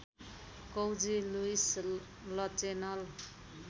कौजी Louis Lachenal